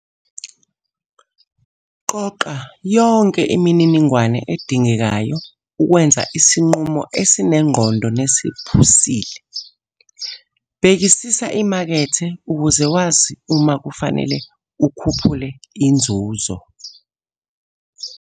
Qoqa yonke imininingwane edingekayo ukwenza isinqumo esinengqondo nesiphusile. Bhekisisa imakethe ukuze wazi uma kufanele ukhuphule inzuzo.